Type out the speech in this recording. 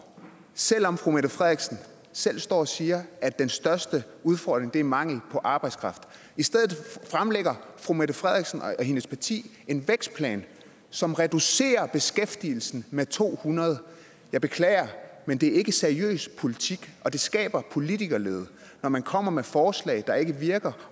selv om fru mette frederiksen selv står og siger at den største udfordring er mangel på arbejdskraft i stedet fremlægger fru mette frederiksen og hendes parti en vækstplan som reducerer beskæftigelsen med to hundrede jeg beklager men det er ikke seriøs politik og det skaber politikerlede når man kommer med forslag der ikke virker